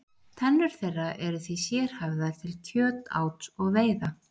Tennur þeirra eru því sérhæfðar til kjötáts og veiða.